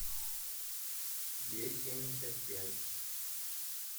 е семьдесят пять